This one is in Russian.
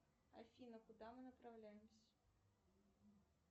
афина куда мы направляемся